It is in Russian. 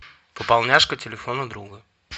пополняшка телефона друга